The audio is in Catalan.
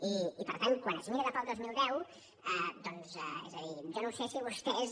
i per tant quan es mira cap al dos mil deu doncs és a dir jo no sé si vostès